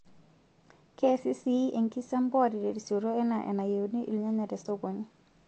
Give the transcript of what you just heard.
Keesi sii enkisampuare terisioroto enaa enayioni irnyanya te sokoni.